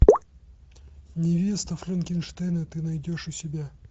невеста франкенштейна ты найдешь у себя